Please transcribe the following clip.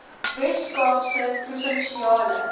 wes kaapse provinsiale